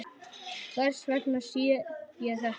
Hvers vegna sé ég þetta?